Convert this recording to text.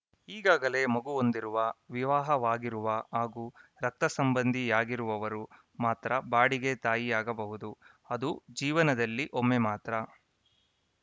ಈಗಾಗಲೇ ಮಗು ಹೊಂದಿರುವ ವಿವಾಹವಾಗಿರುವ ಹಾಗೂ ರಕ್ತ ಸಂಬಂಧಿಯಾಗಿರುವವರು ಮಾತ್ರ ಬಾಡಿಗೆ ತಾಯಿಯಾಗಬಹುದು ಅದೂ ಜೀವನದಲ್ಲಿ ಒಮ್ಮೆ ಮಾತ್ರ